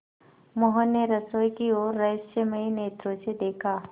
मोहन ने रसोई की ओर रहस्यमय नेत्रों से देखा